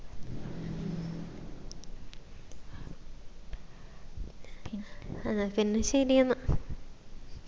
എന്നാ പിന്നാ ശേരി എന്നാ